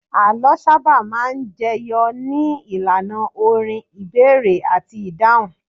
Àlọ́ sábà máa ń jẹyọ ní ìlànà orin, ìbéèrè àti ìdáhùn